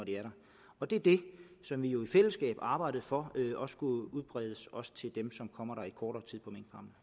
og det er det som vi jo i fællesskab har arbejdet for skulle udbredes også til dem som kommer i kortere